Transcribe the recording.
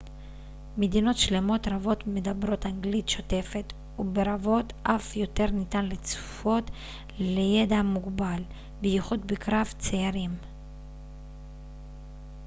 מדינות שלמות רבות מדברות אנגלית שוטפת וברבות אף יותר ניתן לצפות לידע מוגבל בייחוד בקרב צעירים